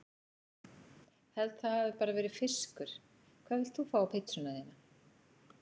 Held það hafi bara verið fiskur Hvað vilt þú fá á pizzuna þína?